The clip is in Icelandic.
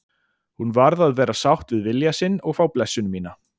Hún varð að vera sátt við vilja sinn og fá blessun mína.